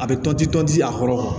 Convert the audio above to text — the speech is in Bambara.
A bɛ tɔnti tɔn di a kɔrɔ